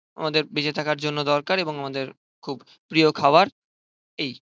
আমাদের বেঁচে থাকার জন্য দরকার এবং আমাদের খুব প্রিয় খাবার. এই.